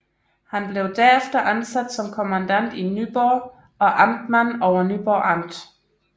Han blev derefter ansat som kommandant i Nyborg og amtmand over Nyborg Amt